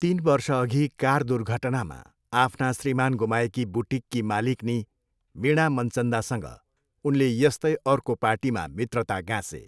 तिन वर्षअघि कार दुर्घटनामा आफ्ना श्रीमान गुमाएकी बुटिककी मालिक्नी वीणा मनचन्दासँग उनले यस्तै अर्को पार्टीमा मित्रता गाँसे।